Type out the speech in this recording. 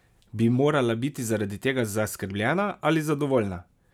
Bi morala biti zaradi tega zaskrbljena ali zadovoljna?